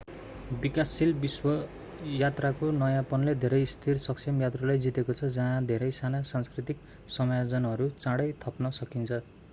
विकासशील विश्व यात्राको नयाँपनले धेरै स्थिर सक्षम यात्रुलाई जितेको छ जहाँ धेरै साना सांस्कृतिक समायोजनहरू चाँडै थप्न सकिन्छ